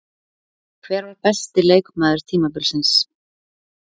Hver var besti leikmaður tímabilsins?